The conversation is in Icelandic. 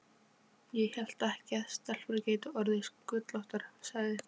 Ég hélt ekki að stelpur gætu orðið sköllóttar, sagði